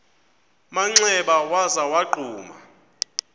manxeba waza wagquma